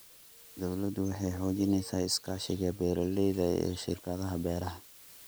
Dawladdu waxay xoojinaysaa iskaashiga beeralayda iyo shirkadaha beeraha.